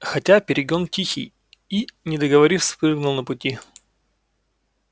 хотя перегон тихий и не договорив спрыгнул на пути